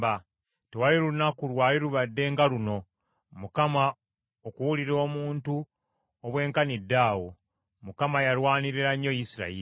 Tewali lunaku lwali lubadde nga luno, Mukama okuwulira omuntu obwenkaniddaawo; Mukama yalwanirira nnyo Isirayiri.